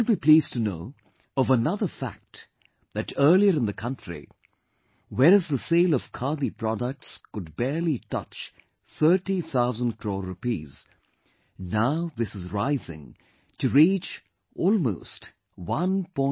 You will be pleased to know of another fact that earlier in the country, whereas the sale of Khadi products could barely touch thirty thousand crore rupees; now this is rising to reach almost 1